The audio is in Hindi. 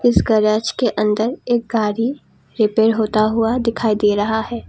इस गैरेज के अंदर एक गाड़ी रिपेयर होता हुआ दिखाई दे रहा है।